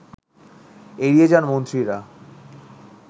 এড়িয়ে যান মন্ত্রীরা